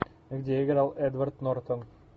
где играл эдвард нортон